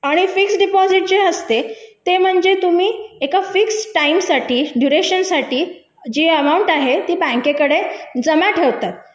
आणि fix deposit जे असते ते म्हणजे तुम्ही एका फिक्स टाईम साठी दुरेशन साठी जी अमाऊंट आहे ती बँकेत कडे जमा ठेवतात मग